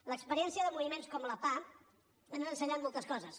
l’experiència de moviments com la pah han ensenyat moltes coses